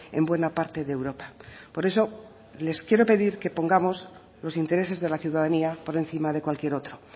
en buena parte de europa por eso les quiero pedir que pongamos los intereses de la ciudadanía por encima de cualquier otro